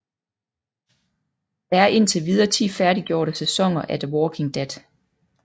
Der er indtil videre 10 færdiggjorte sæsoner af The Walking Dead